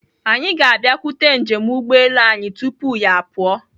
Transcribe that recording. Anyị ga-abịakwute njem ụgbọelu anyị tupu ya apụọ.